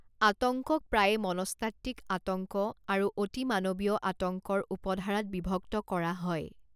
আতংকক প্ৰায়ে মনস্তাত্ত্বিক আতংক আৰু অতিমানৱীয় আতংকৰ উপধাৰাত বিভক্ত কৰা হয়।